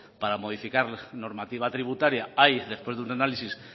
para modificar normativa tributaria hay después de un análisis